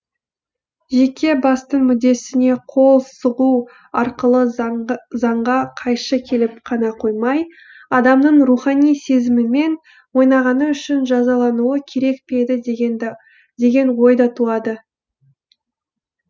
жеке бастың мүддесіне қол сұғу арқылы заңға қайшы келіп қана қоймай адамның рухани сезімімен ойнағаны үшін жазалануы керек пе еді деген ой да туады